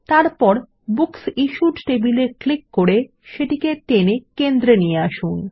তারপর বুকসিশ্যুড টেবিল এ ক্লিক করে সেটিকে টেনে কেন্দ্রে নিয়ে আসুন